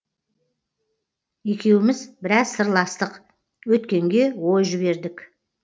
екеуміз біраз сырластық өткенге ой жібердік